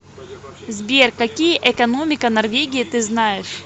сбер какие экономика норвегии ты знаешь